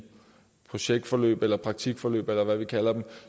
projektforløb eller i praktikforløb eller hvad vi kalder dem